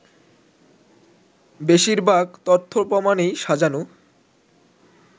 “বেশিরভাগ তথ্য-প্রমাণই সাজানো